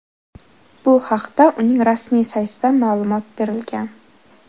Bu haqda uning rasmiy saytida ma’lumot berilgan .